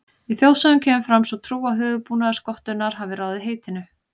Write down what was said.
Í þjóðsögum kemur fram sú trú að höfuðbúnaður skottunnar hafi ráðið heitinu.